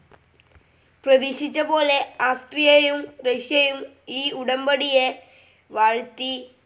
പ്രതീക്ഷിച്ചപോലെ ആസ്ട്രിയയു റഷ്യയും ഈ ഉടമ്പടിയെ വാഴ്ത്തി.